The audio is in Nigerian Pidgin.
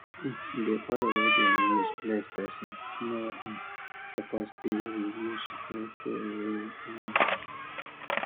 di oil wey dem use bless person no suppose dey reuse or throway anyhow